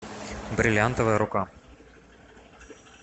бриллиантовая рука